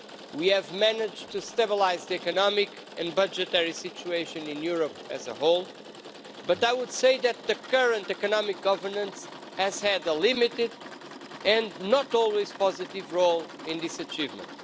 We have managed to stabilise the economic and budgetary situation in Europe as a whole, but I would say that the current economic governance has had a limited and not always positive role in this achievement.